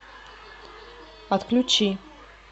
отключи